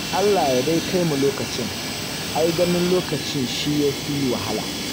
Allah dai ya kai mu lokacin. Ai ganin lokacin shi ya fi wahala.